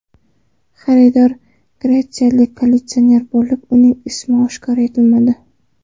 Xaridor gretsiyalik kolleksioner bo‘lib, uning ismi oshkor etilmadi.